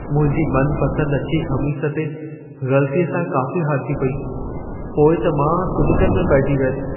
मुंहिंजी मनपसंदि अछी ख़मीस ते ग़लतीअ सां कॉफ़ी हारिजी पेई। पोइ त मां सुॾिकनि में पइजी वियसि।